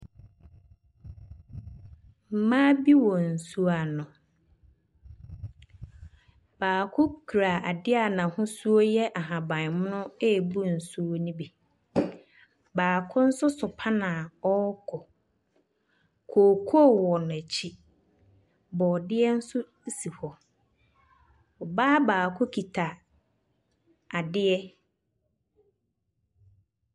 Mmaa bi wɔ nsuo ano. Baako kura adeɛ a n'ahosuo yɛ ahabammono rebu nsuo no bi. Baako nso so pan a ɔrekɔ. Kookoo wɔ n'akyi. Borɔdeɛ nso si hɔ. Ɔbaa baako kita adeɛ.